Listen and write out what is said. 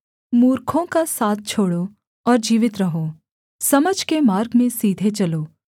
मूर्खों का साथ छोड़ो और जीवित रहो समझ के मार्ग में सीधे चलो